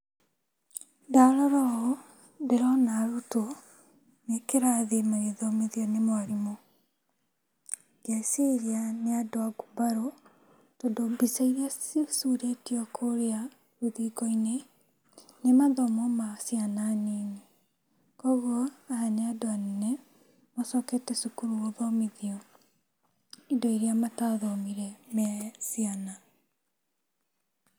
Ndarora ũũ ndĩrona arutwo me kĩrathi magĩthomithio nĩ mwarimũ, ngeciria nĩ andũ a ngumbarũ tondũ mbica iria cicurĩtio kũrĩa rũthingo-inĩ nĩ mathomo ma ciana nini. Kuoguo aya nĩ andũ anene macokete cukuru gũthomithio indo iria matathomire me ciana.